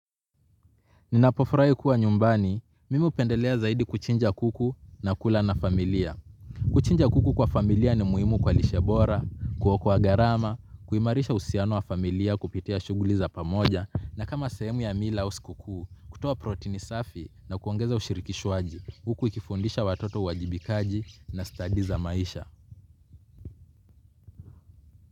Ninapo furahi kuwa nyumbani, mimi hupendelea zaidi kuchinja kuku na kula na familia. Kuchinja kuku kwa familia ni muhimu kwa lishe bora, kuokoa gharama, kuimarisha uhusiano wa familia kupitia shughuli za pamoja, na kama sehemu ya mila au sikukuu, kutoa protini safi na kuongeza ushirikishwaji. Huku ikifundisha watoto uajibikaji na stadi za maisha.